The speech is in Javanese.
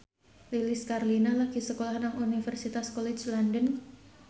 Lilis Karlina lagi sekolah nang Universitas College London